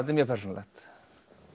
er mjög persónulegt